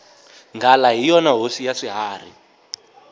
nghala hi yona hosi ya swiharhi